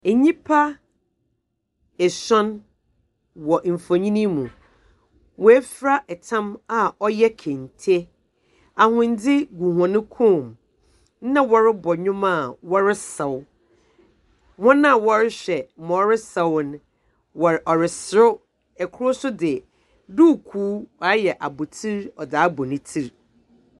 Nyimpa esuon wɔ mfonyin yi mu, woefura tam a ɔyɛ kente, ahondze gu hɔn kɔnmu, na wɔrobɔ ndwom a wɔresaw. Hɔn a wɔrohwɛ dza ɔresaw no, wɔ ɔresaw na kor so dze duukuu ɔayɛ abɔtsir a ɔdze abɔ ne tsir.